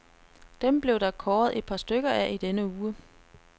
Dem blev der kåret et par stykker af i denne uge.